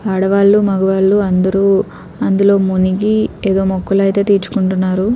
ఆడవాళ్లు మగవాళ్లు అందరు అందులో మునిగి ఏదో మొక్కలైతే తీర్చుకుంటున్నారు.